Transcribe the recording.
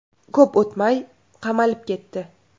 Ko‘p o‘tmay qamalib ketdi.